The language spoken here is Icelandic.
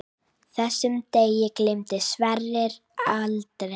Þessum degi gleymdi Sverrir aldrei.